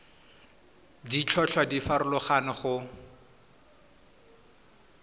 ditlhotlhwa di a farologana go